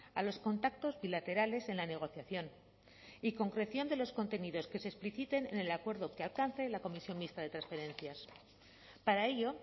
a los contactos bilaterales en la negociación y concreción de los contenidos que se expliciten en el acuerdo que alcance la comisión mixta de transferencias para ello